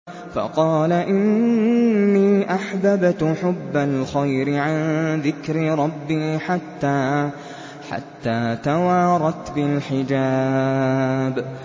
فَقَالَ إِنِّي أَحْبَبْتُ حُبَّ الْخَيْرِ عَن ذِكْرِ رَبِّي حَتَّىٰ تَوَارَتْ بِالْحِجَابِ